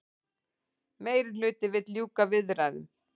Meirihluti vill ljúka viðræðum